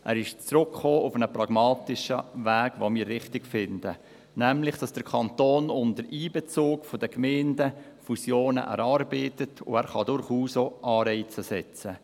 Er ist auf einen pragmatischen Weg zurückgekommen, den wir richtig finden, nämlich, dass der Kanton unter Einbezug der Gemeinden Fusionen erarbeitet, und er kann durchaus auch Anreize setzen.